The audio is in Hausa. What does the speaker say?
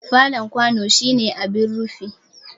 Fallen kwano shine abin rufi.